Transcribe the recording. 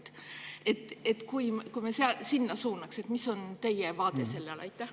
Kui me sinna suunaks?